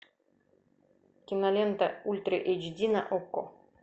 кинолента ультра эйч ди на окко